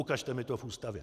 Ukažte mi to v Ústavě!